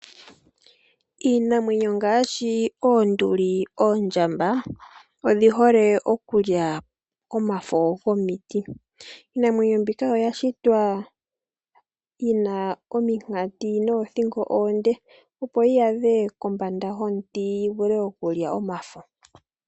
Iinamwenyo ngaashi oonduli, oondjamba, odhi hole okulya omafo gomiti. Iinamwenyo mbika oya shitwa yina ominkati noothingo oonde, opo yi adhe kombanda yomiti opo yi vule oku lya omafo.